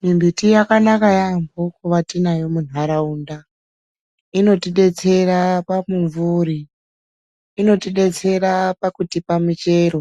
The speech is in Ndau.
Mimbiti yakanaka yaambo kuva tinayo munharaunda inotidetsera pamumvuri inotidetsera pakutipa muchero